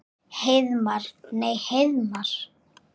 Heiðmar. nei Heiðmar?